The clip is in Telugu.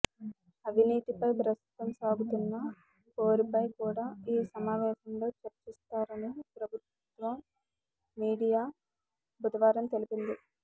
అవినీతిపై ప్రస్తుతం సాగుతున్న పోరుపై కూడా ఈ సమావేశంలో చర్చిస్తారని ప్రభుత్వ మీడియా బుధవారం తెలిపింది